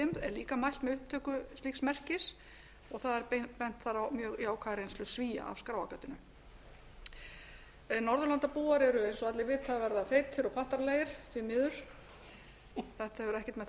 líka mælt með upptöku slíks merkis og það er bent þar á mjög jákvæða reynslu svía af skráargatinu norðurlandabúar eru eins og allir vita að verða feitir og pattaralegir því miður þetta hefur ekkert með það að